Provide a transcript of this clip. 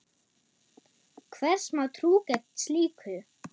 Hvers má trú gegn slíku?